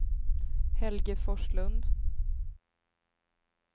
Helge Forslund